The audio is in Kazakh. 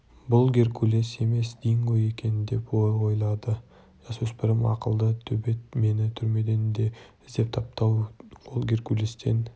бұл геркулес емес динго екен деп ойлады жасөспірім ақылды төбет мені түрмеден де іздеп тапты-ау ол геркулестен